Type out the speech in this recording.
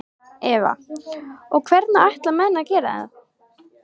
Eva: Og hvernig ætla menn að gera það?